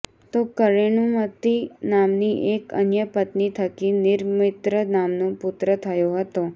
તો કરેણુમતિ નામની એક અન્ય પત્ની થકી નિરમિત્ર નામનો પુત્ર થયો હતો